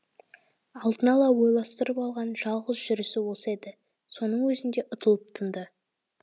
алдын ала ойластырып алған жалғыз жүрісі осы еді соның өзінде ұтылып тынды